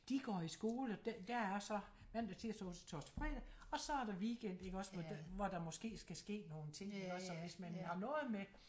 De går i skole der er så mandag tirsdag onsdag torsdag fredag og så er der weekend ik også hvor der måske skal ske nogle ting ik også så hvis man har noget med